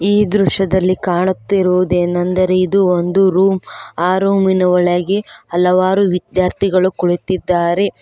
ಈ ದೃಶ್ಯದಲ್ಲಿ ಕಾಣುತ್ತಿರುವುದೇನೆಂದರೆ ಇದು ಒಂದು ರೂಮ್ ಆ ರೂಮಿನ ಒಳಗೆ ಹಲವಾರು ವಿಧ್ಯಾರ್ಥಿಗಳು ಕುಳಿತಿದ್ದಾರೆ.